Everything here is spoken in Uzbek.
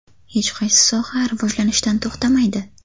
Hech qaysi soha rivojlanishdan to‘xtamaydi.